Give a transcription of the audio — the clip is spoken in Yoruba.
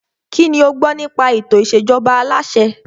Kínní o gbọ́ nípa ètò ìṣèjọba aláṣẹ?